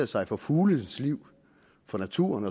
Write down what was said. sig for fuglenes liv for naturen